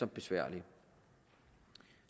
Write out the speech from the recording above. besværlige